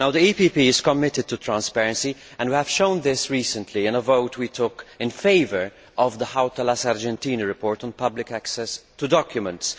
The EPP Group is committed to transparency and we have shown this recently in a vote we took in favour of the Hautala Sargentini report on public access to documents.